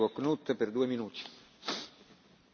Herr Präsident, liebe Kolleginnen und Kollegen!